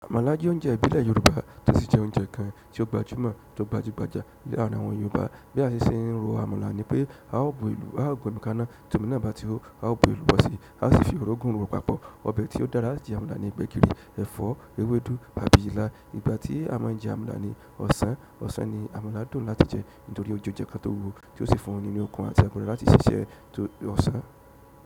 Àmàlà jẹ́ oúnjẹ ìbílẹ̀ Yoruba, tó sì jẹ́ oúnjẹ kan tó gbajúmọ̀, tó gbajúgbajà lárin àwọn Yoruba bí a ṣe ń ro àmàlà nípé, a ó gbé omi ka na, tí omi na bá ti hó, a ó fi èlùbọ́ sí, a sì fi orugun ro papọ̀. Ọbẹ̀ tí ó dára láti fi jẹ ni: gbẹ̀gìrì, ẹ̀fọ́, ewédú, àti ilá ìgbà tí a má ń jẹ àmàlà ní ọ̀sán ọ̀sán ni àmàlà dùn láti jẹ nítorí ó jẹ oúnjẹ kan tó wúwo tí ó sì fún ni ní okun àti agbára láti ṣiṣẹ́ ti ọ̀sán.